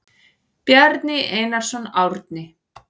Bjarni Einarsson, Árni.